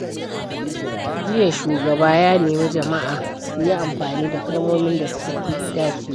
Jiya, shugaba ya nemi jama’a su yi amfani da kalmomin da suka fi dacewa.